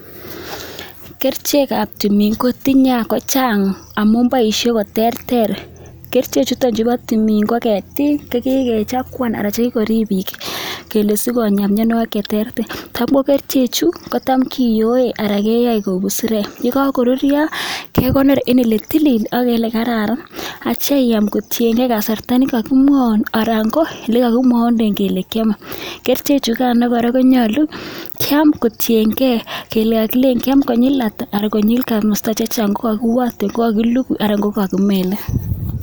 Kerichek kab tumin kotinye akochang, boision koterter, kerichek chuton chebo tumin ko ketik chekikechakuan anan chekikorib bik kele siko silonya miannuagik cheterter ter chu ko tam kiyoe anan kichobe kou busarek. Yekakorurto aitya I am kotienge kasarta nakakimwaun anan ko olekakimwaunden kele kiame kerichek chugan konyalu kiam kotienge olekakilein kiame konyil ata.